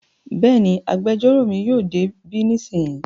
Bẹ́ẹ̀ni, agbẹjọ́rò mi yóò dé bí nísìnyí